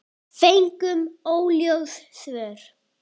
Fengum óljós svör.